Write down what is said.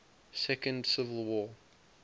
second civil war